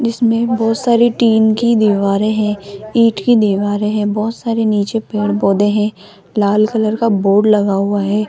जिसमें बहोत सारी टीन की दीवारें हैं ईट की दीवारें हैं बहोत सारे नीचे पेड़ पौधे हैं लाल कलर का बोर्ड लगा हुआ है।